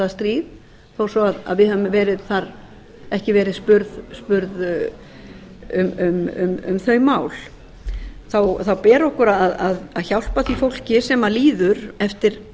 það stríð þó svo við höfum ekki verið spurð um þau mál þá ber okkur að hjálpa því fólki sem líður eftir